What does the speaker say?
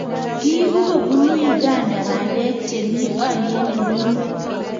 kiibuu kobunu Uganda bandek chemii olyet nemi ng'weny